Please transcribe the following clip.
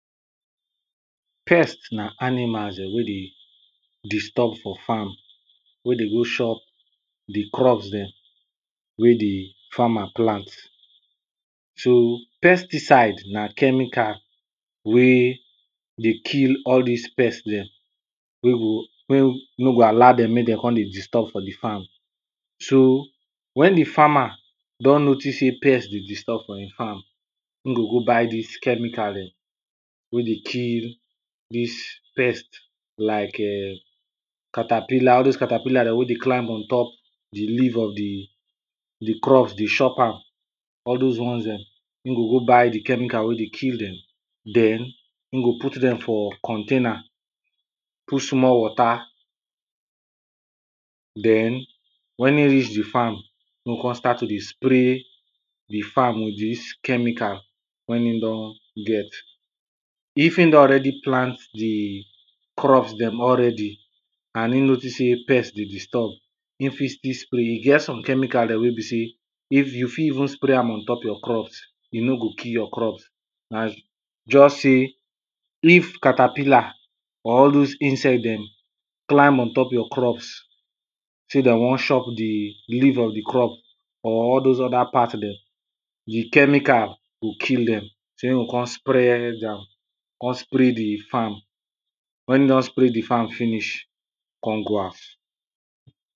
pest na animals Dem wey dey, disturb for farm, wey dey go chop the crops dem wey the farmer plant. so, pesticide na chemical wey dey kill all dis pest dem, wey go wey, no go allow dem make dem con dey disturb for the farm. so, wen the farmer, don notice say pest dey disturb for im farm im go go buy dis chemical dem, wey dey kill, dis pest like um, caterpillar, all dose caterpillar wey dey climb ontop the leave of the, the crops dey chop am, all dose ones dem, in go go buy the chemical wey dey kill dem. den, im go put dem for container, put small water, den, wen in reach the farm, im go con start to dey spray the farm with dis chemical, wen im don get. if im don already plant the, crops dem already and in notice say pest dey disturb, in fit still spray, e get some chemical dem wey be say, if you fit even spray am ontop your crops e no go kill your crops, as just say, if caterpillar, or all dose insect dem, climb ontop your crops, say de wan chop the, leave of the crop, or all dose other part dem, the chemical go kill dem, say im go con spread am, con spray the farm wen im don spray the farm finish con go house.